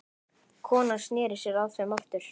Konan sneri sér að þeim aftur.